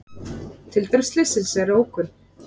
Tildrög slyssins eru ókunn.